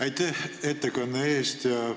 Aitäh ettekande eest!